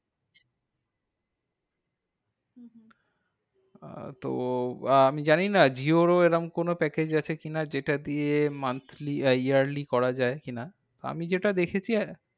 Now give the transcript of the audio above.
আহ তো আহ আমি জানিনা jio র ও এরম কোনো package আছে কি না? যেটা দিয়ে monthly আহ yearly করা যায় কি না? আমি যেটা দেখেছি।